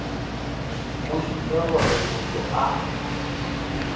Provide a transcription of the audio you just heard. go šupe gore motho a